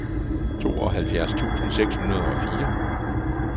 tooghalvfjerds tusind seks hundrede og fire